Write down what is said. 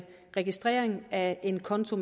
registrering af en konto